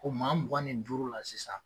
Ko maa mugan nin duuru la sisan